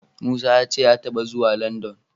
Musa ya ce ya taɓa zuwa Landan.